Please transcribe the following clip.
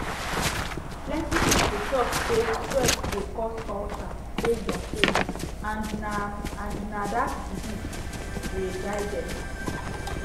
plenty people talk say stress dey cause ulcer based on faith and na and na dat belief dey guide them